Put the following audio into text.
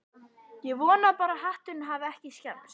Ég vona bara að hatturinn hafi ekki skemmst